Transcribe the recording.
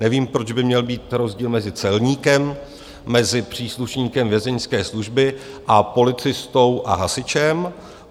Nevím, proč by měl být rozdíl mezi celníkem, mezi příslušníkem Vězeňské služby a policistou a hasičem.